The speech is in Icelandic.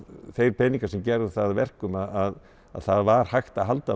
þeir peningar sem gerðu það að verkum að það var hægt að halda